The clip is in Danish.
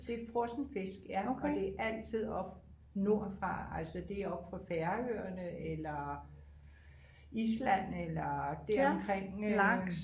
Det er frossen fisk ja og det er altid oppe nordfra altså det er oppe fra Færøerne eller Island eller deromkring øh